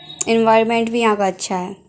Environment भी यहां का अच्छा है।